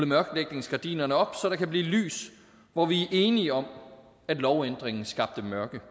mørklægningsgardinerne op så der kan blive lys hvor vi er enige om at lovændringen skabte mørke